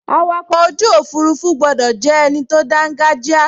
Awakọ̀ ojú òfurufú gbọdọ̀ jẹ́ ẹni tó dángájíá